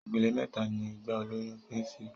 Ipele méta ni ìgbà ìlóyún pín sí